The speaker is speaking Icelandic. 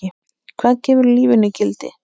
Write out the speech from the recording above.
Hvað gefur lífinu gildi?